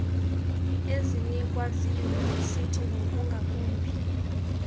ezinikwa ziiyunivesiti ngokungakumbi